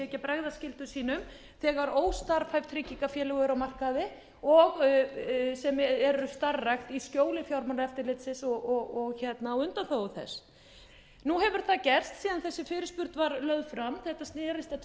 ekki að bregðast skyldum sínum þegar óstarfhæf tryggingafélög eru á markaði sem eru starfrækt í skjóli fjármálaeftirlitsins og á undanþágu þess nú hefur það gerst síðan þessi fyrirspurn var lögð fram þetta snerist að tveimur